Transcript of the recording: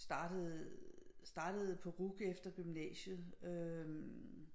Startede på RUC efter gymnasiet øh